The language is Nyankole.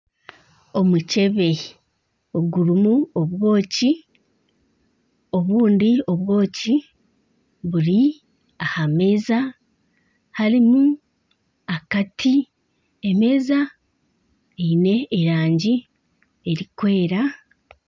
Omukyebe ogurimu obwoki, obundi obwoki buri aha meeza harimu akati emeeza eine erangi erikwera